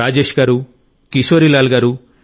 రాజేశ్ గారు కిశోరీ లాల్ గారు